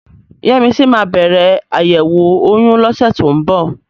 Yẹ́misí máa bẹ̀rẹ̀ àyẹ̀wò oyún lọ́sẹ̀ tó ń bọ̀.